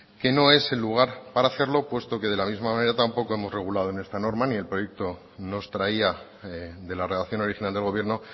que no es el lugar para hacerlo puesto que de la misma manera tampoco hemos regulado en esta norma ni el proyecto nos traía de la redacción original del gobierno